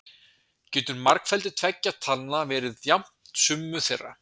Getur margfeldi tveggja talna verið jafnt summu þeirra?